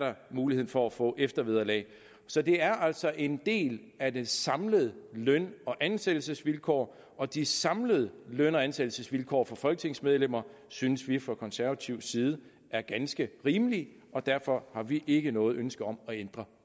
mulighed for at få eftervederlag så det er altså en del af de samlede løn og ansættelsesvilkår og de samlede løn og ansættelsesvilkår for folketingsmedlemmer synes vi fra konservativ side er ganske rimelige og derfor har vi ikke noget ønske om at ændre